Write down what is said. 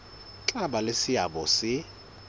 tla ba le seabo se